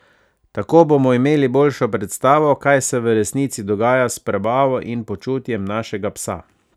Tako bomo imeli boljšo predstavo, kaj se v resnici dogaja s prebavo in počutjem našega psa.